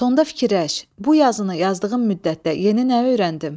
Sonda fikirləş, bu yazını yazdığım müddətdə yeni nə öyrəndim?